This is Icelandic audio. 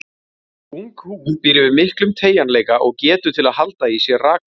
Ung húð býr yfir miklum teygjanleika og getu til að halda í sér raka.